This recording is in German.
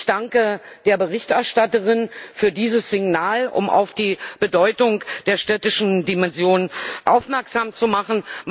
Ich danke der Berichterstatterin für dieses Signal, um auf die Bedeutung der städtischen Dimension aufmerksam zu machen.